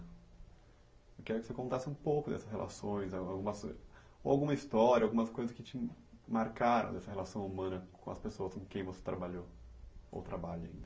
Eu quero que você contasse um pouco dessas relações, alguma alguma ou alguma história, algumas coisas que te marcaram nessa relação humana com as pessoas com quem você trabalhou, ou trabalha ainda.